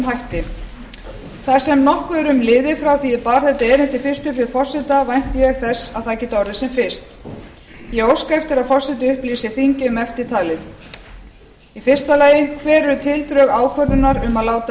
hætti þar sem nokkuð er liðið frá því að ég bar þetta erindi fyrst upp við forseta vænti ég þess að það geti orðið sem fyrst ég óska eftir að forseti upplýsi þingið um eftirtalið fyrstu hver eru tildrög ákvörðunar um að láta